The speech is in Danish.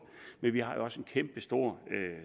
vi vi har jo også en kæmpestor